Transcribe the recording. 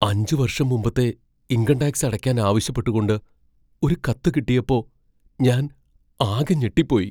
അഞ്ച് വർഷം മുമ്പത്തെ ഇൻകം ടാക്സ് അടയ്ക്കാൻ ആവശ്യപ്പെട്ടുകൊണ്ട് ഒരു കത്ത് കിട്ടിയപ്പോ ഞാൻ ആകെ ഞെട്ടിപ്പോയി.